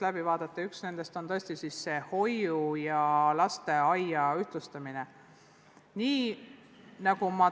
Ja üks nendest on tõesti lastehoiu ja lasteaia ühtlustamine.